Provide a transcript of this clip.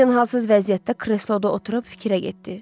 Dorian halsız vəziyyətdə kresloda oturub fikrə getdi.